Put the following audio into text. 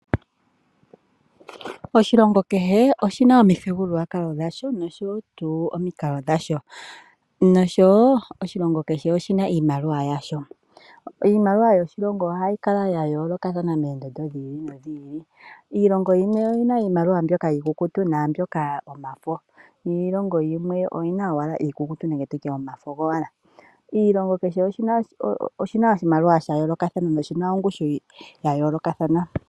Oshilongo kehe oshina omithigululwakalo dhasho nosho wo tuu omikalo dhasho noshowo oshilongo kehe oshina iimaliwa yasho. Iimaliwa yoshilongo ohayi kala ya yoolokathana moondondo dhi ili nodhi ili. Iilongo yimwe oyina iimaliwa mbyoka iikukutu naambyoka yomafo niilongo yimwe oyina owala iikukutu nenge tutye omafo gowala. Oshilongo kehe oshina oshimaliwa sha yoolokathana noshina ongushu ya yoolokathana.